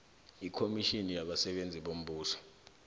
ikomitjhini yabasebenzi bombuso